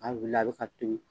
A wulila a bɛ ka tobi.